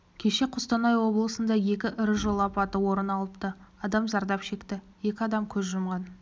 кеше қостанай облысында екі ірі жол апаты орын алып адам зардап шекті екі адам көз жұмған